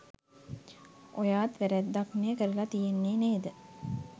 ඔයාත් වැ‍රැද්දක්නේ කරල තියෙන්නේ නේද?